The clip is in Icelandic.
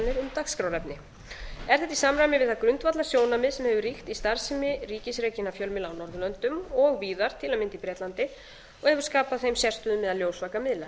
dagskrárefni er þetta í samræmi við það grundvallarsjónarmið sem hefur ríkt í starfsemi ríkisrekinna fjölmiðla á norðurlöndum og víðar til að mynda í bretlandi og hefur skapað þeim sérstöðu meðal ljósvakamiðla